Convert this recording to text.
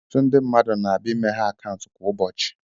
Ọtụtụ mmadụ na-abịa imeghe akaụntụ kwa ụbọchị.